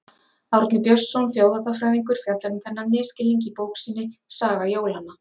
Árni Björnsson þjóðháttafræðingur fjallar um þennan misskilning í bók sinni Saga jólanna.